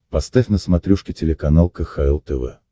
поставь на смотрешке телеканал кхл тв